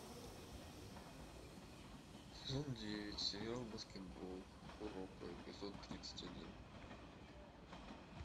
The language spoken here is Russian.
сезон девять сериал баскетбол куроко эпизод тридцать один